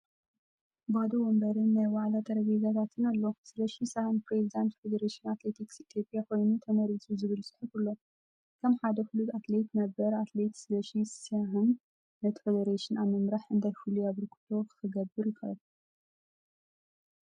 ባዶ መንበርን ናይ ዋዕላ ጠረጴዛታትን ኣሎ። "ሰለሺ ሰህን ፕረዚደንት ፌደሬሽን ኣትሌቲክስ ኢትዮጵያ ኮይኑ ተመሪጹ" ዝብል ጽሑፍ ኣሎ። ከም ሓደ ፍሉጥ ኣትሌት ነበር፡ ኣትሌት ሰለሺ ሴህን ነቲ ፈደረሽን ኣብ ምምራሕ እንታይ ፍሉይ ኣበርክቶ ክገብር ይኽእል?